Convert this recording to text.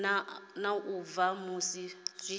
na u bva musi zwi